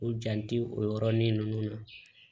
U jan tɛ o yɔrɔnin ninnu na